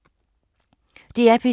DR P2